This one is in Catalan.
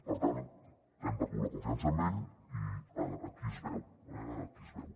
per tant hem perdut la confiança en ell i aquí es veu aquí es veu